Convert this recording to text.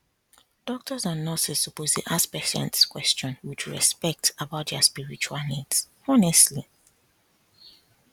doctors and nurses suppose dey ask patients question with respect about their spiritual needs honestly